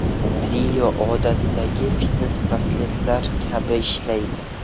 Trio odatdagi fitnes-brasletlar kabi ishlaydi.